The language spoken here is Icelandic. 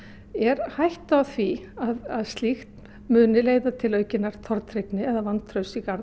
er hætta á því að slíkt muni leiða til aukinnar tortryggni eða vantrausts í garð